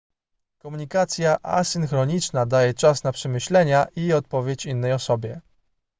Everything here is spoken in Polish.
komunikacja asynchroniczna daje czas na przemyślenia i odpowiedź innej osobie